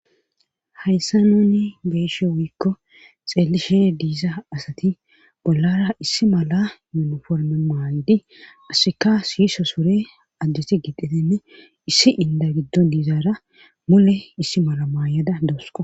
hayssa nuuni beyishe woykko xeellishe diisa asati bollara issi mala yuuniforme maaydi asseka siyiso sure ajjati giditenne issi inda giddon diizaara mule issi mala maayada dawusqo